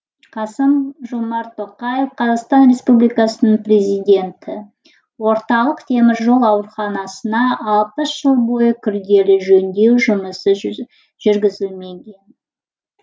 қасым жомарт тоқаев қазақстан республикасының президенті орталық теміржол ауруханасына алпыс жыл бойы күрделі жөндеу жұмысы жүргізілмеген